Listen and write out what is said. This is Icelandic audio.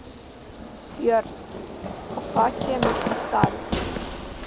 Björn: Og hvað kemur í staðinn?